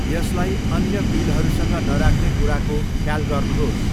यसलाई अन्य बिलहरूसँग नराख्ने कुराको ख्याल गर्नुहोस्।